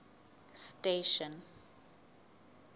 station